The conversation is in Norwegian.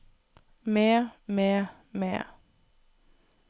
med med med